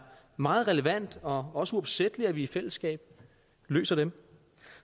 meget relevant og også uopsætteligt at vi i fællesskab løser dem